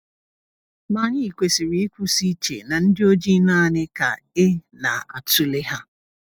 Ma anyị kwesịrị ịkwụsị iche na ndị ojii naanị ka e na-atụle ha.